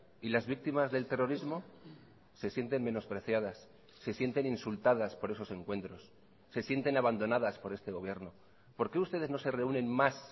y las víctimas del terrorismo se sienten menospreciadas se sienten insultadas por esos encuentros se sienten abandonadas por este gobierno por qué ustedes no se reúnen más